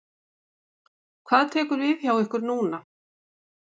Hvað tekur við hjá ykkur núna?